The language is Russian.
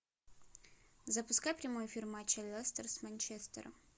запускай прямой эфир матча лестер с манчестером